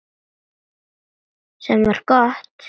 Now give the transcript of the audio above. Sem var gott.